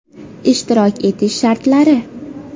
Ishtirok etish shartlari!